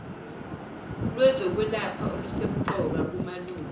lwezokwelapha olusemqoka kumalunga